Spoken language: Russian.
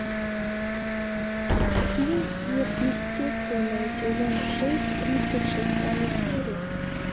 фильм сверхъестественное сезон шесть тридцать шестая серия